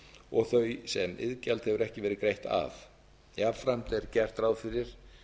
og þau sem iðgjald hefur ekki verið greitt af jafnframt er gert ráð fyrir